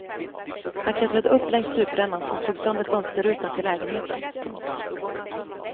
Han klättrade upp längs stuprännan och slog sönder fönsterrutan till lägenheten. punkt